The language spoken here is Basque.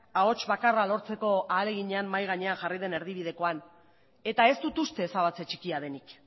ahots bakarra lortzeko ahaleginean mahai gainean jarri den erdibidekoan eta ez dut uste ezabatze txikia denik